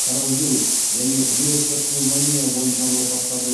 коронавирус және вирустық пневмония бойынша науқастарды